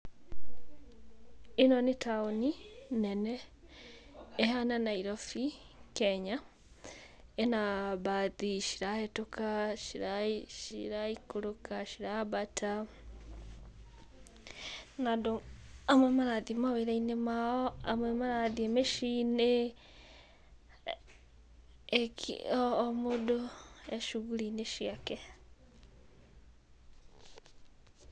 Ĩno nĩ taũni nene ĩhana nairobi Kenya, ĩna mbathi cirahũtũka, ciraikũrũka, cirambata na andũ amwe marathiĩ mawĩra-inĩ mao, amwe marathiĩ mĩciĩ-inĩ. O mũndũ e cuguri-inĩ ciake.